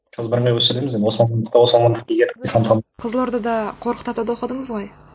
қызылордада қорқыт атада оқыдыңыз ғой